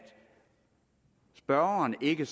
spørgeren ikke